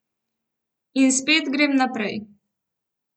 In spet grem naprej.